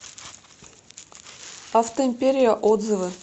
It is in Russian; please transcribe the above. автоимперия отзывы